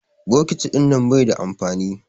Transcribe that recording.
Bokiti ɗinnan bai da amfani.